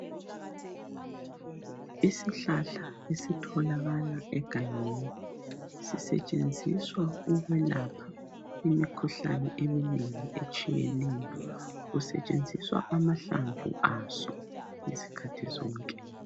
Isihlahla esitholakala egangeni sisetshenziswa ukulapha imikhuhlane eminengi etshiyeneyo. Kusetshenziswa amahlamvu aso izikhathi zonke.